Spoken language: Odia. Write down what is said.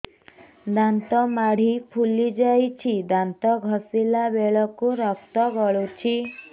ଦାନ୍ତ ମାଢ଼ୀ ଫୁଲି ଯାଉଛି ଦାନ୍ତ ଘଷିଲା ବେଳକୁ ରକ୍ତ ଗଳୁଛି